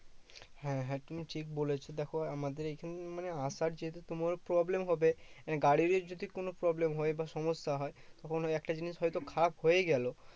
হ্যাঁ হ্যাঁ তুমি ঠিক বলেছো। দেখো আমাদের এখানে মানে আসার যেহেতু তোমার problem হবে, গাড়িরই যদি কোনো problem হয় বা সমস্যা হয় তখন ওই একটা জিনিস হয়তো খারাপ হয়ে গেলো